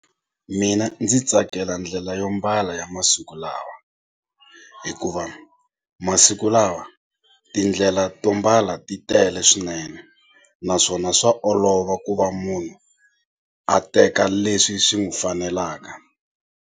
Mina ndzi tsakela ndlela yo mbala ya masiku lawa hikuva masiku lawa tindlela to mbala ti tele swinene naswona swa olova ku va munhu a teka leswi swi n'wi fanelaka.